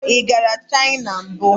Ị gara China mbụ?